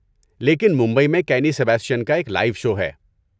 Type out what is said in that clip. لیکن ممبئی میں کینی سیباسٹین کا ایک لائیو شو ہے۔